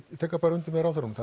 tek undir með ráðherranum